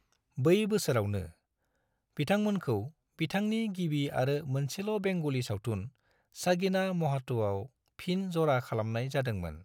बै बोसोरावनो, बिथांमोनखौ बिथांनि गिबि आरो मोनसेल' बेंगली सावथुन सगीना माहात'आव फिन ज'रा खालामनाय जादोंमोन।